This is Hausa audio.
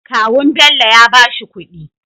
Kawun Bello yabashi kudi